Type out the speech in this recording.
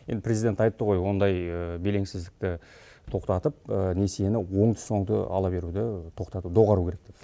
енді президент айтты ғой ондай белеңсіздікті тоқтатып несиені оңды соңды ала беруді доғару керек деп